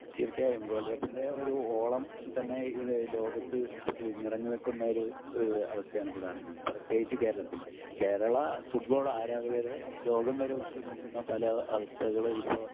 തീർച്ചയായും വേൾഡ് കപ്പിൻ്റെ ഒരു ഓളം തന്നെ ഇഹ് ലോകത്ത് ഇഹ് നിറഞ്ഞ് നിക്കുന്ന ഒരു ഇഹ് ഒരു അവസ്ഥ ആണ് ഇപ്പൊ കാണുന്നത്. പ്രത്യേകിച്ച് കേരളത്തിൽ. കേരള ഫുട്ബോൾ ആരാധകരെ ലോകം വരേ ഉറ്റു നോക്കുന്ന പല അവസ്ഥകള് ഇപ്പോൾ